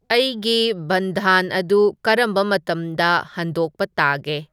ꯑꯩꯒꯤ ꯕꯟꯙꯥꯟ ꯑꯗꯨ ꯀꯔꯝꯕ ꯃꯇꯝꯗ ꯍꯟꯗꯣꯛꯄ ꯇꯥꯒꯦ